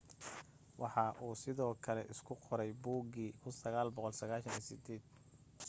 waxa uu sidoo kale isku qoray buugii 1998